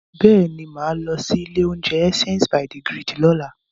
Bẹ́ẹ̀ ni, mà á lọ ilé-oúnjẹ Essence by the Grid lọ́la.